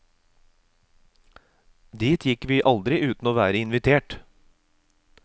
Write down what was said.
Dit gikk vi aldri uten å være invitert.